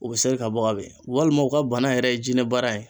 U bɛ ser'i ka bɔ ka bin walima u ka bana yɛrɛ ye jinɛ bana ye